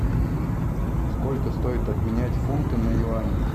сколько стоит обменять фунты на юани